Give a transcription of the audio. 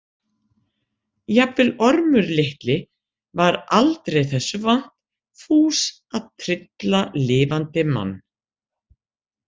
Jafnvel Ormur litli var aldrei þessu vant fús að trylla lifandi mann.